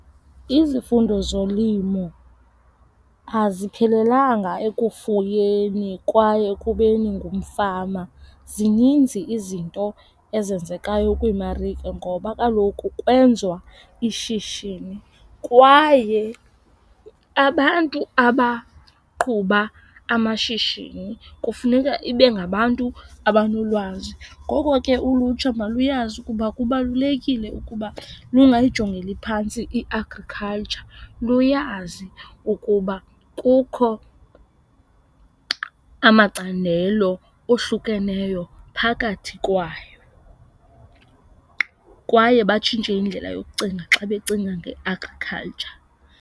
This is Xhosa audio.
Izifundo zolimo aziphelelanga ekufuyeni kwaye ekubeni ngumfama. Zininzi izinto ezenzekayo kwiimarike ngoba kaloku kwenziwa ishishini kwaye abantu abaqhuba amashishini kufuneka ibe ngabantu abanolwazi. Ngoko ke ulutsha maluyazi ukuba kubalulekile ukuba lungayijongeli phantsi i-agriculture. Luyazi ukuba kukho amacandelo ohlukeneyo phakathi kwayo kwaye batshintshe indlela yokucinga xa becinga nge-agriculture.